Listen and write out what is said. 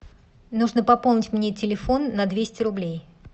нужно пополнить мне телефон на двести рублей